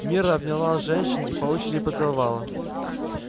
мирра обняла женщин и по очереди поцеловала